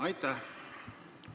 Aitäh!